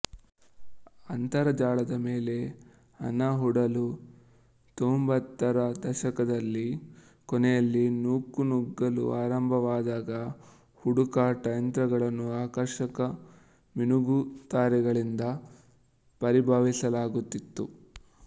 ಅಂತರಜಾಲದ ಮೇಲೆ ಹಣಹೂಡಲು ತೊಂಭತ್ತರ ದಶಕದ ಕೊನೆಯಲ್ಲಿ ನೂಕುನುಗ್ಗಲು ಆರಂಭವಾದಾಗ ಹುಡುಕಾಟ ಯಂತ್ರಗಳನ್ನು ಆಕರ್ಷಕ ಮಿನುಗುತಾರೆಗಳೆಂದು ಪರಿಭಾವಿಸಲಾಗುತ್ತಿತ್ತು